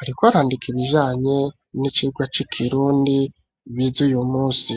ariko arandika ibijanye n'icirwa c'i kirundi bizuye umusi.